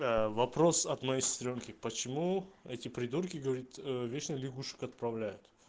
вопрос от моей сестрёнки почему эти придурки говорит вечно лягушек отправляют